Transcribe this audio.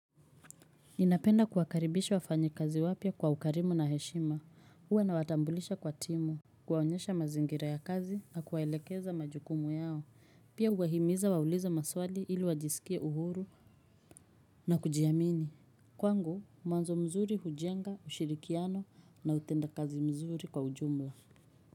Ninapenda kuwakaribisha wafanyikazi wapya kwa ukarimu na heshima, uwa nawatambulisha kwa timu kuwaonyesha mazingira ya kazi na kuwaelekeza majukumu yao, pia uwahimiza wauliza maswali ili wajisikie uhuru na kujiamini Kwangu, mwanzo mzuri hujenga ushirikiano na utendakazi mzuri kwa ujumla.